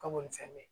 Ka bɔ ni fɛn bɛ ye